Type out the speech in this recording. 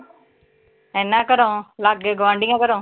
ਇੰਨਾ ਘਰੋਂ, ਲਾਗੇ ਗੁਆਂਢੀਆਂ ਘਰੋਂ?